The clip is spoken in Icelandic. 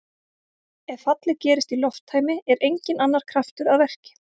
Ef fallið gerist í lofttæmi er enginn annar kraftur að verki.